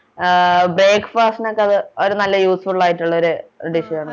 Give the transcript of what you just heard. ആഹ് breakfast നോക്കെ അത് ഒരു നല്ല usefull ആയിട്ടുള്ളൊരു dish ആണ്